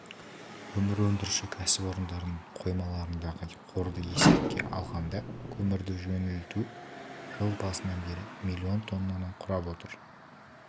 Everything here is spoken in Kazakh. көмір өндіруші кәсіпорындардың қоймаларындағы қорды есепке алғанда көмірді жөнелту жыл басынан бері миллион тоннаны құрап отыр